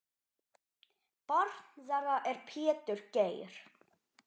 Barn þeirra er Pétur Geir.